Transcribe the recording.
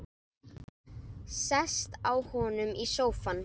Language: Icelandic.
Sest hjá honum í sófann.